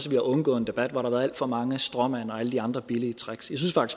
vi har undgået en debat hvor der har været alt for mange stråmænd og alle de andre billige tricks